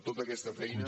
tota aquesta feina